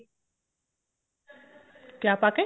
ਕਿਆ ਪਾ ਕੇ